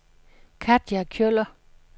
Katja Kjøller